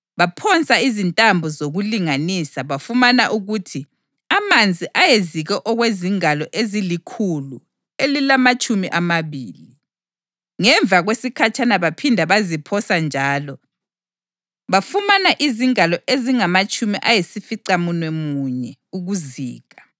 Baphosa izintambo zokulinganisa bafumana ukuthi amanzi ayezike okwezingalo ezilikhulu elilamatshumi amabili. Ngemva kwesikhatshana baphinda baziphosa njalo bafumana izingalo ezingamatshumi ayisificamunwemunye ukuzika.